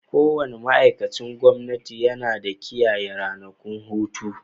Kowane ma'aikacin gwamnati yana kiyaye ranakun hutu.